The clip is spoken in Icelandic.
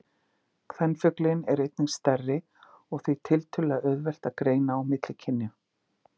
Kvenfuglinn er einnig stærri og því er tiltölulega auðvelt að greina á milli kynjanna.